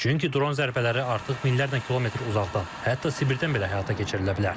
Çünki dron zərbləri artıq minlərlə kilometr uzaqdan, hətta Sibirdən belə həyata keçirilə bilər.